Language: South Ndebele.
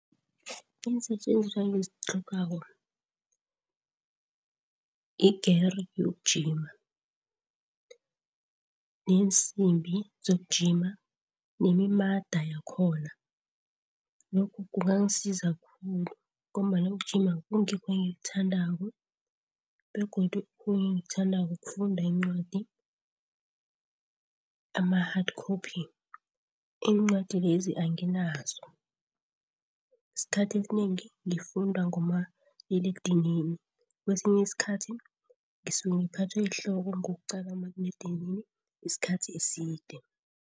Iinsetjenziswa engizitlhogako i-gear yokugijima, iinsimbi zokugijima nemimada yakhona. Lokhu kungasiza khulu ngombana ukugijima kungikho engikuthandako. Begodu okhunye engikuthandako kufunda iincwadi ama-hard copy, iincwadi lezi anginazo. Esikhathi esinengi ngifunda ngomaliledinini, kwesinye isikhathi ngisuke ngiphathwe yihloko ngokuqala umaliledinini isikhathi eside.